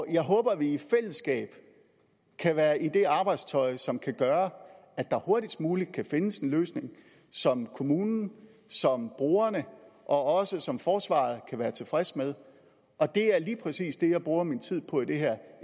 jeg håber at vi i fællesskab kan være i det arbejdstøj som kan gøre at der hurtigst muligt kan findes en løsning som kommunen som brugerne og som forsvaret kan være tilfreds med og det er lige præcis det jeg bruger min tid på i det her